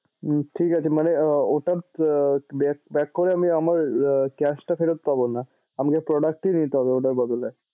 উম ঠিক আছে মানে ওটা back করে আমি আমার cash টা ফেরত পাবোনা, আমাকে product এ নিতে হবে ওটার বদলে।